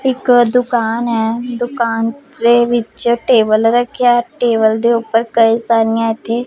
ਇੱਕ ਦੁਕਾਨ ਐ ਦੁਕਾਨ ਦੇ ਵਿੱਚ ਟੇਬਲ ਰੱਖਿਆ ਐ ਟੇਬਲ ਦੇ ਉੱਪਰ ਕਈ ਸਾਰੀਆਂ ਇੱਥੇ --